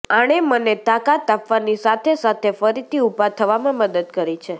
આણે મને તાકાત આપવાની સાથે સાથે ફરીથી ઉભા થવામાં મદદ કરી છે